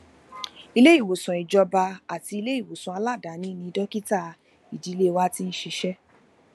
iléìwòsàn ìjọba àti iléìwòsàn aladaáni ni dókítà ìdílé wa ti ń ṣiṣé